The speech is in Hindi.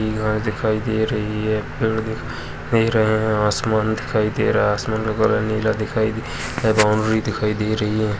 दिखाई दे रही है| पेड़ दिखाई दे रहे है| आसमान दिखाई दे रहा है आसमान का कलर नीला दिखाई दे बाउंड्री दिखाई दे रही है।